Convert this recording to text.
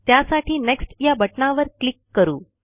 त्यासाठी नेक्स्ट या बटणावर क्लिक करू